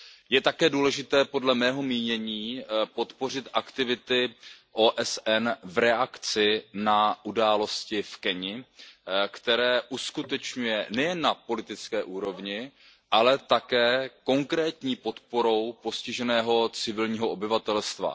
Je také důležité, podle mého mínění, podpořit aktivity OSN v reakci na události v Keni, které uskutečňuje nejen na politické úrovni, ale také konkrétní podporou postiženého civilního obyvatelstva.